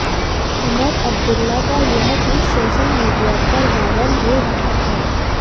उमर अब्दुल्ला का यह tweet social media पर वायरल हो रहा है